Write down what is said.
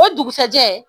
O dugusajɛ